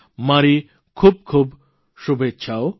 મારી ખૂબ ખૂબ શુભેચ્છાઓ